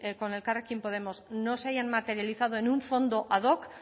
con elkarrekin podemos no se hayan materializado en un fondo ad hoc